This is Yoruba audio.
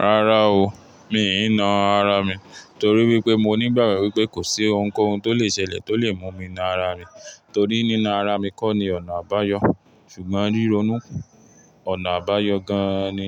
Rárá o, mi ì ń naa ara mi torí wípé mo ní ìgbàgbọ́ wípé kò sí ohunkóhun tó lè ṣẹlẹ̀ tó lè mú mi na ara mi, torí nína ara mi kó ni ọ̀nà àbáyọ. Ṣùgbọ́n ríronúkù, ọ̀nà àbáyọ gan-an ni